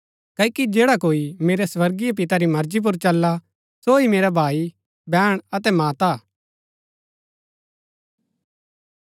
क्ओकि जैडा कोई मेरै स्वर्गीय पिता री मर्जी पुर चलला सो ही मेरा भाई बैहण अतै माता हा